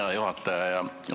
Hea juhataja!